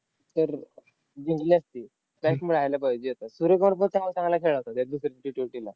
तर जिंकली असती. strike मिळायला पाहिजे होता. सूर्य कुमार पण काल चांगला खेळला होता त्या दुसऱ्या Ttwenty ला.